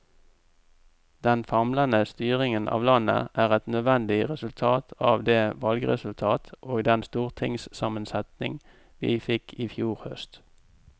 Den famlende styringen av landet er et nødvendig resultat av det valgresultat og den stortingssammensetning vi fikk i fjor høst.